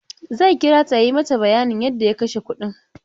Zai kira ta ya yi mata bayanin yadda ya kashe kudin.